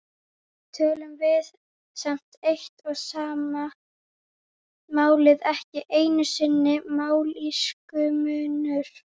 tölum við samt eitt og sama málið, ekki einusinni mállýskumunur.